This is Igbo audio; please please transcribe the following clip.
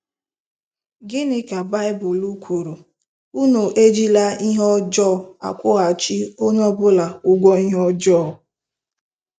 Gịnị ka Baịbụl kwuru? “Unu ejila ihe ọjọọ akwụghachi onye ọ bụla ụgwọ ihe ọjọọ.......